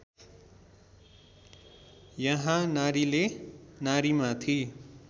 यहाँ नारीले नारीमाथि